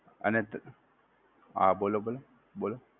અને હા બોલો બોલો, બોલો.